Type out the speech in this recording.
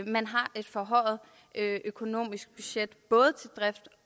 man har et forhøjet økonomisk budget både til drift